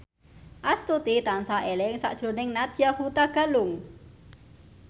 Astuti tansah eling sakjroning Nadya Hutagalung